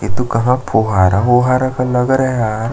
ये तो कहाँ फोहारा ओहारा का लगा रहा है यार--